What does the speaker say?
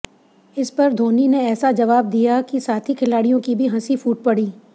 इस पर धोनी ने ऐसा जवाब दिया कि साथी खिलाड़ियों की भी हंसी फूट पड़ी